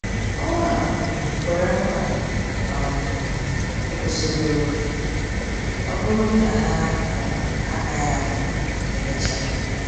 O um kwere nkwa um ịkwụsị obere oge, ọ bụrụ godi na-ha um agaghị anọ emecha